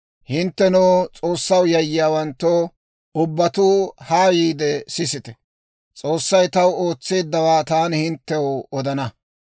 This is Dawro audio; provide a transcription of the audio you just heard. Hinttenoo, S'oossaw yayyiyaawanttoo, ubbatuu haa yiide, sisite. S'oossay taw ootseeddawaa taani hinttew odana.